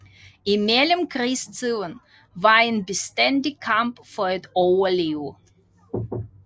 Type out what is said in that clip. I Mellemkrigstiden var en bestandig kamp for at overleve